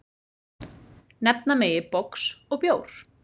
Nefna megi box og bjór.